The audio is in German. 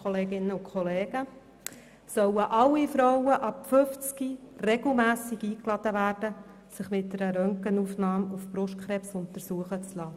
Sollen alle Frauen ab 50 Jahren regelmässig eingeladen werden, sich mit einer Röntgenaufnahme auf Brustkrebs untersuchen zu lassen?